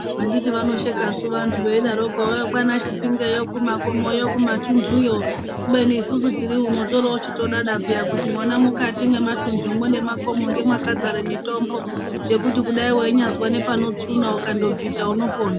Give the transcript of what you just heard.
Anditisu vanosheka suu vantu vaidaroko kwana Chipingeyo kumakomoyo kumatunduyo ,kubeni isusu tichitoriwo uno todada piyani kuti mwona mwukati mwematundu nemakomo ndomakadzare mitombo yekuti dai wainyazwa nepanotsuna ukandobvita unopona